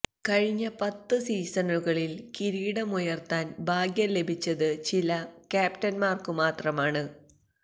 കഴിഞ്ഞ പത്ത് സീസണുകളില് കിരീടമുയര്ത്താന് ഭാഗ്യം ലഭിച്ചത് ചില ക്യാപ്റ്റന്മാര്ക്കു മാത്രമാണ്